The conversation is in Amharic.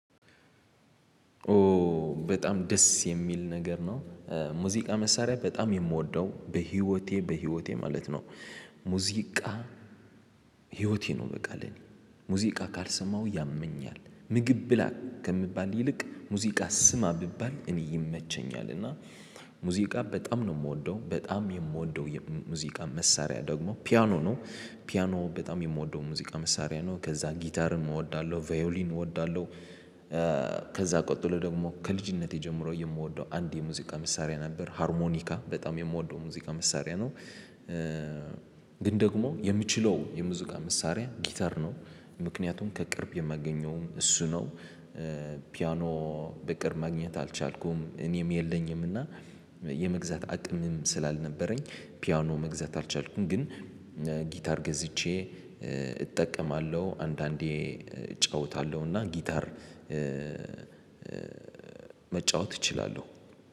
ኦ በጣም ደስ የሚል ነገር ነው ሙዚቃ መሳሪያ በጣም ነው የምወደው በህይወቴ በህይወቴ ማለት ነው። ሙዚቃ ህይወቴ ነው በቃ። ሙዚቃ ካልሰማው ያመኛል ምግብ ብላ ከምባል ይልቅ ሙዚቃ ስማ ብባል እኔ ይመቸኛል። እና ሙዚቃ በጣም ነው የምወደው በጣም የምውደው ሙዚቃ መሳሪያ ደግሞ ፒያኖ ነው። ፒያኖ በጣም የምወደው ሙዚቃ መሳሪያ ነው ከዛ ጊታርም ቫዮሊን እውዳለው። ከዛ ቀጥሎ ደግሞ ከልጅነት ጀምሮ የምወደው አንድ የሙዚቃ መሳሪያ ነበር ሀርሞኒካ በጣም የምወድው ሙዚቃ መሳሪያ ነው። ግን ደግሞ የምችለው የሙዚቃ መሳሪያ ጊታር ነው። ምክንያቱም ከቅርብ የማገኘው እሱ ነው። ፒያኖ በቅርብ ማግኘት አልቻልኩም እኔም የለኝም እና። የመግዛት አቅም ስልላነበረኝ ፒያኖ መግዛት አልቻልኩም። ግን ጊታር ገዝቼ እጠቀማለው። አንዳንዴ እጫወታለው እና ጊታር መጫወት እችላልው።